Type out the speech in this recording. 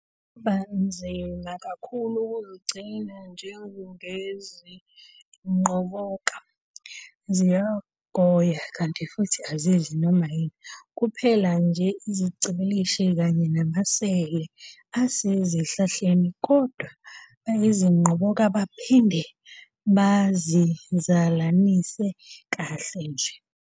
Kungaba nzima kakhulu ukuzigcina njengezinqoboka, ziyagoya kanti futhi azidli noma yini, kuphela nje izigcibilikishi kanye namasele asezihlahleni, kodwa bayazinqoboka baphinde baziizalanise kahle nje.